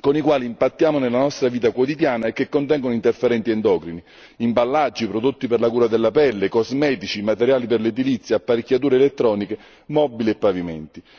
con i quali impattiamo nella nostra vita quotidiana e che contengono interferenti endocrini imballaggi, prodotti per la cura della pelle, cosmetici, materiali per l'edilizia, apparecchiature elettroniche, mobili e pavimenti.